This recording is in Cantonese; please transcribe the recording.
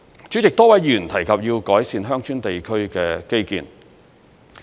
主席，多位議員提及要改善鄉村地區的基建。